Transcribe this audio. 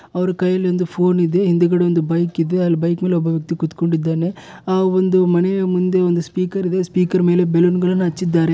ಅವರು ಕೈಯಲ್ಲಿ ಒಂದು ಫೋನ್ ಇದೆ. ಹಿಂದಗಡೆ ಒಂದು ಬೈಕ್ ಇದೆ ಅಲ್ಲಿ ಬೈಕ್ ಮೇಲೆ ಒಬ್ಬ ವ್ಯಕ್ತಿ ಕುತ್ಕೊಂಡಿದ್ದಾನೆ. ಆ ಒಂದು ಮನೆಯ ಮುಂದೆ ಒಂದು ಸ್ಪೀಕರ್ ಇದೆ ಸ್ಪೀಕರ್ ಮೇಲೆ ಬಲೂನ್ಗಳನ್ನ ಹಚ್ಚಿದ್ದಾರೆ.